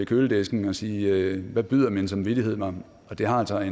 køledisken og sige hvad byder min samvittighed mig det har altså